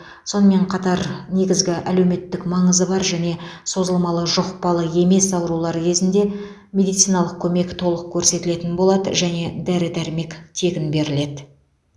сонымен қатар негізгі әлеуметтік маңызы бар және созылмалы жұқпалы емес аурулар кезінде медициналық көмек толық көрсетілетін болады және дәрі дәрмек тегін беріледі